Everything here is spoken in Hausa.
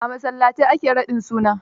A masallatai a ke raɗin suna.